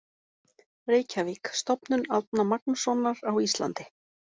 Reykjavík: Stofnun Árna Magnússonar á Íslandi.